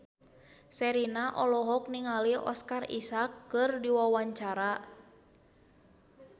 Sherina olohok ningali Oscar Isaac keur diwawancara